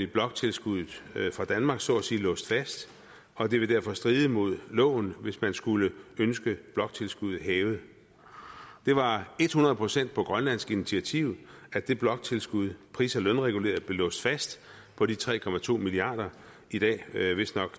bloktilskuddet fra danmark nemlig så at sige låst fast og det vil derfor stride mod loven hvis man skulle ønske bloktilskuddet hævet det var et hundrede procent på grønlands initiativ at det bloktilskud pris og lønreguleret blev låst fast på de tre milliard kr i dag vistnok